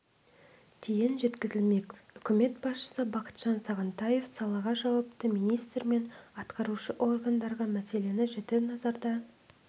дейін жеткізілмек үкімет басшысы бақытжан сағынтаев салаға жауапты министр мен атқарушы органдарға мәселені жіті назарда